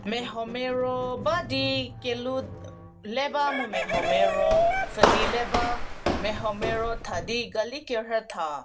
Mia ho Mia ro ba di keloo le ba mu miaho Mia ro pfhüdi le ba miaho Mia ro thadi gali kerhü tha.